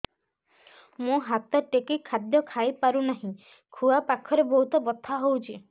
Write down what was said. ମୁ ହାତ ଟେକି ଖାଦ୍ୟ ଖାଇପାରୁନାହିଁ ଖୁଆ ପାଖରେ ବହୁତ ବଥା ହଉଚି